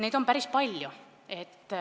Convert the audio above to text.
Seda oli päris palju.